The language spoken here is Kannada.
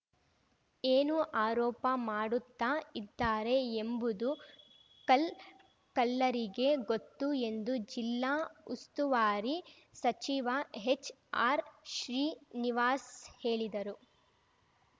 ಏನು ಆರೋಪ ಮಾಡುತ್ತಾ ಇದ್ದಾರೆ ಎಂಬುದು ಕಲ್ ಕಲ್ಲರಿಗೇ ಗೊತ್ತು ಎಂದು ಜಿಲ್ಲಾ ಉಸ್ತುವಾರಿ ಸಚಿವ ಹೆಚ್ಆರ್‌ ಶ್ರೀನಿವಾಸ ಹೇಳಿದರು